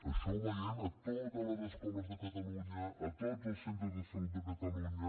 això ho veiem a totes les escoles de catalunya a tots els centres de salut de catalunya